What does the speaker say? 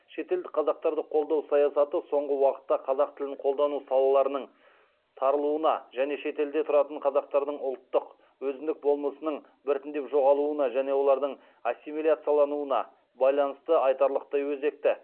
шетелдік қазақтарды қолдау саясаты соңғы уақытта қазақ тілін қолдану салаларының тарылуына және шетелде тұратын қазақтардың ұлттық өзіндік болмысының біртіндеп жоғалуына және олардың ассимиляциялануына байланысты айтарлықтай өзекті